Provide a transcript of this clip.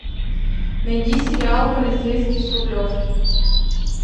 найди сериал полицейский с рублевки